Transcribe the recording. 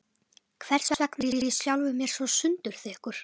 Hversvegna var ég sjálfum mér svo sundurþykkur?